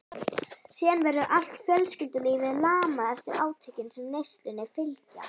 Síðan verður allt fjölskyldulífið lamað eftir átökin sem neyslunni fylgja.